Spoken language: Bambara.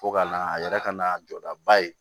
Fo ka na a yɛrɛ ka n'a jɔdaba ye